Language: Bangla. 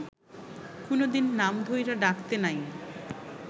কুনোদিন নাম ধইরা ডাকতে নাই